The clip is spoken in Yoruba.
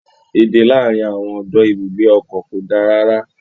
Èdè láàárín àwọn ọdọ ibùgbé ọkọ̀ ko da rara.